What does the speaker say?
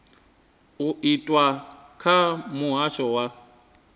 u itwa kha muhasho wa